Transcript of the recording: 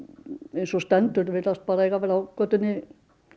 eins og stendur virðast bara eiga vera á götunni